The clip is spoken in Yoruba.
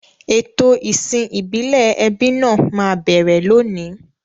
Ètò ìsìn ìbílẹ̀ ẹbí náà máa bẹ̀rẹ̀ lónìí.